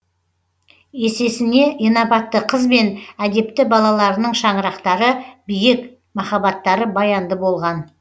есесіне инабатты қыз бен әдепті балаларының шаңырақтары биік махаббаттары баянды болған